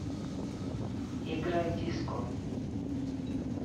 играй диско